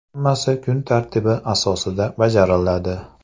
Hammasi kun tartibi asosida bajariladi.